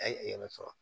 A ye yɛrɛ sɔrɔ